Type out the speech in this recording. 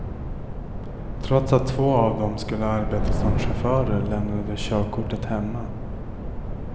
Trots att två av dem skulle arbeta som chaufförer lämnade de körkortet hemma.